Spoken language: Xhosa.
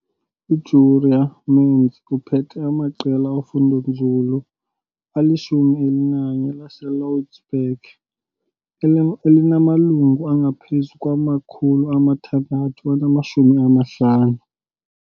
UJurie Mentz uphethe amaqela ofundonzulu alishumi elinanye laseLouwsburg elinamalungu angaphezu kwama-650.